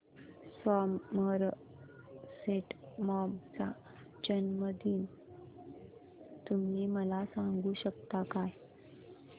Somerset Maugham चा जन्मदिन तुम्ही मला सांगू शकता काय